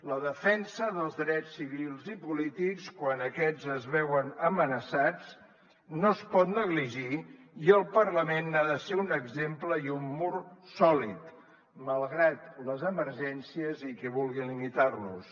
la defensa dels drets civils i polítics quan aquests es veuen amenaçats no es pot negligir i el parlament n’ha de ser un exemple i un mur sòlid malgrat les emergències i qui vulgui limitar los